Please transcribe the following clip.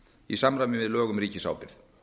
í samræmi við lög um ríkisábyrgð